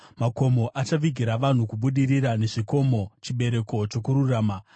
Makomo achavigira vanhu kubudirira, nezvikomo, chibereko chokururama.